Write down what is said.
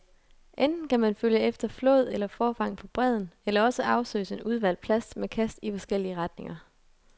Enten kan man følge efter flåd eller forfang på bredden, eller også afsøges en udvalgt plads med kast i forskellige retninger.